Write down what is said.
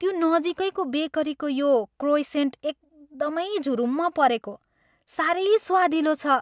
त्यो नजिकैको बेकरीको यो क्रोइसेन्ट एकदमै झुरुम्म परेको सारै स्वादिलो छ।